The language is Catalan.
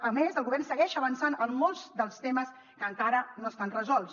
a més el govern segueix avançant en molts dels temes que encara no estan resolts